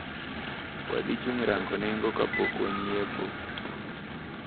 Wadhichung` rango nengo kapok wanyiepo.